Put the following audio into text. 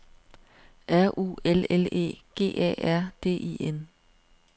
R U L L E G A R D I N